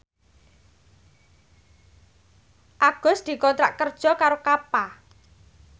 Agus dikontrak kerja karo Kappa